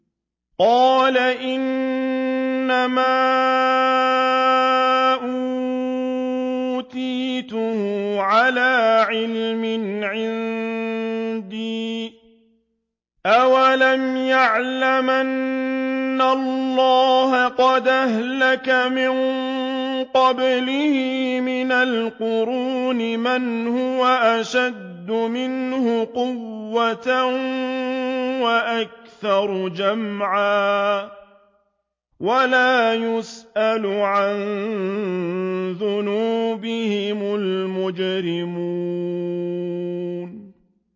قَالَ إِنَّمَا أُوتِيتُهُ عَلَىٰ عِلْمٍ عِندِي ۚ أَوَلَمْ يَعْلَمْ أَنَّ اللَّهَ قَدْ أَهْلَكَ مِن قَبْلِهِ مِنَ الْقُرُونِ مَنْ هُوَ أَشَدُّ مِنْهُ قُوَّةً وَأَكْثَرُ جَمْعًا ۚ وَلَا يُسْأَلُ عَن ذُنُوبِهِمُ الْمُجْرِمُونَ